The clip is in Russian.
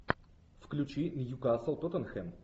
включи ньюкасл тоттенхэм